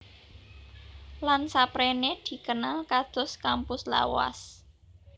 Lan saprene dikenal kados kampus lawas